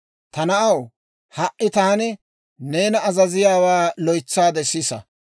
Ta na'aw, ha"i taani neena azaziyaawaa loytsaade sisa.